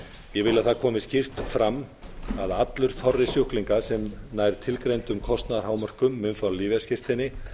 að það komi skýrt fram að allur þorri sjúklinga sem nær tilgreindum kostnaðarhámörkum mun fá lyfjaskírteini